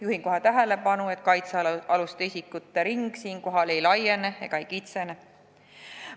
Juhin kohe tähelepanu, et kaitsealuste isikute ring ei laiene ega kitsene.